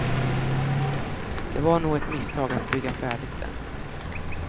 Det var nog ett misstag att bygga färdigt den.